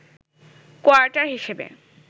quarter হিসেবে